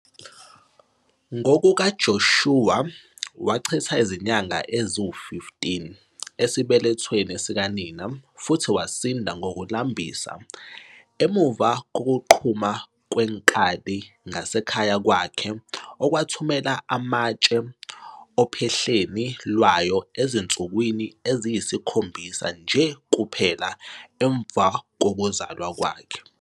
NgokukaJoshua, wachitha izinyanga eziyi-15 esibelethweni sikanina futhi wasinda ngokulambisa emuva kokuqhuma kwenkwali ngasekhaya kwakhe okwathumela amatshe ophahleni lwayo ezinsukwini eziyisikhombisa nje kuphela emva kokuzalwa kwakhe.